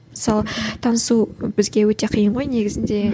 мысалы танысу бізге өте қиын ғой негізінде